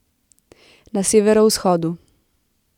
Na severovzhodu.